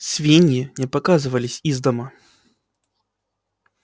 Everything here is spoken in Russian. свиньи не показывались из дома